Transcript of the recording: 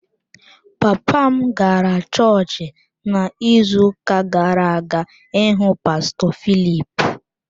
Papa m gara chọọchị n’izuuka gara-aga ịhụ pastọ Philip.